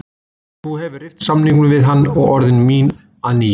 Þú hefðir rift samningnum við hann og orðið mín að nýju.